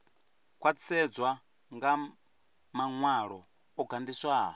khwaṱhisedzwa nga maṅwalo o gandiswaho